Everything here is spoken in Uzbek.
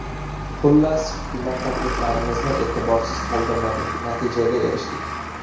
Xullas hukumat takliflarimizni e’tiborsiz qoldirmadi, natijaga erishdik.